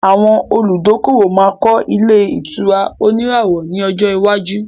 Àwọn olùdókòwò máa kọ́ ilẹ̀ ìtura òníràwọ̀ ní ọjọ iwájú